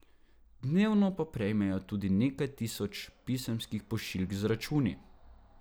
Dnevno pa prejmejo tudi nekaj tisoč pisemskih pošiljk z računi.